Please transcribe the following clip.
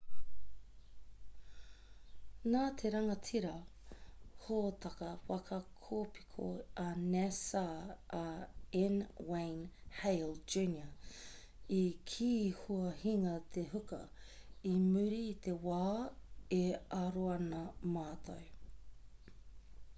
nā te rangatira hōtaka waka kōpiko a nasa a n wayne hale jr i kī kua hinga te huka i muri i te wā e aro ana mātou